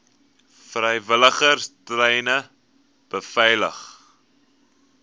vrywilligers treine beveilig